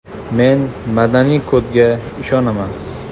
Men madaniy kodga ishonaman.